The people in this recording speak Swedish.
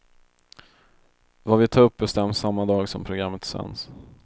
Vad vi tar upp bestäms samma dag som programmet sänds.